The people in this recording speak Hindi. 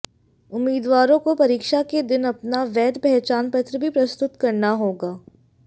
उम्मीदवारों को परीक्षा के दिन अपना वैध पहचान पत्र भी प्रस्तुत करना होगा